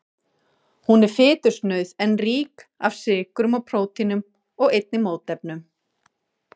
Hún er fitusnauð en rík af sykrum og prótínum og einnig mótefnum.